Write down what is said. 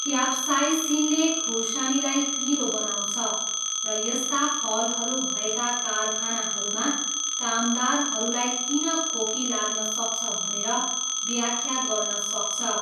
क्याप्साइसिनले खुर्सानीलाई पिरो बनाउँछ र यस्ता फलहरू भएका कारखानाहरूमा कामदारहरूलाई किन खोकी लाग्न सक्छ भनेर व्याख्या गर्न सक्छ।